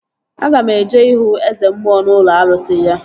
Aga m eje ihu Eze mmụọ n'ụlọ arụsị ya